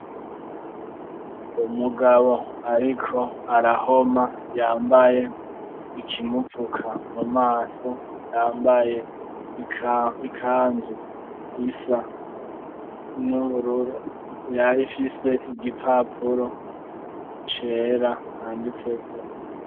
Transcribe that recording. Umugabo ariko arahoma, yambaye ikimupfuka mumaso, yambaye ikanzu isa n'ibururu, yari ifise igipapuro cera canditseko.